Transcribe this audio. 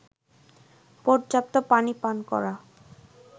পর্যাপ্ত পানি পান করা